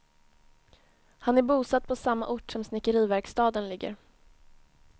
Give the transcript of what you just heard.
Han är bosatt på samma ort som snickeriverkstaden ligger.